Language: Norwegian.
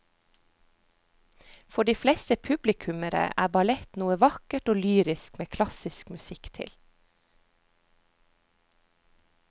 For de fleste publikummere er ballett noe vakkert og lyrisk med klassisk musikk til.